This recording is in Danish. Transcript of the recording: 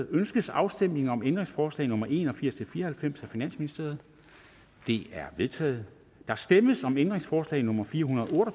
ønskes afstemning om ændringsforslag nummer en og firs til fire og halvfems af finansministeren de er vedtaget der stemmes om ændringsforslag nummer fire hundrede og